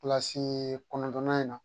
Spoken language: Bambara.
Kilasi kɔnɔntɔnnan in na